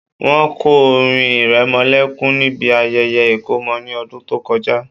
Wọ́n kọ orin ìrẹmọlẹ́kún níbi ayẹyẹ ìkómọ ní ọdún tó kọjá